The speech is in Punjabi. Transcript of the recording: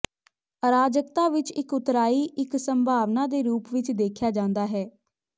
ਅਰਾਜਕਤਾ ਵਿੱਚ ਇੱਕ ਉਤਰਾਈ ਇੱਕ ਸੰਭਾਵਨਾ ਦੇ ਰੂਪ ਵਿੱਚ ਦੇਖਿਆ ਜਾਂਦਾ ਹੈ